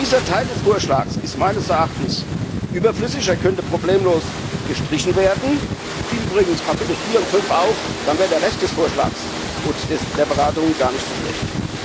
Dieser Teil des Vorschlags ist meines Erachtens überflüssig, er könnte problemlos gestrichen werden, wie übrigens Kapitel 4 und 5 auch, dann wäre der Rest des Vorschlags und der Beratungen gar nicht so schlecht.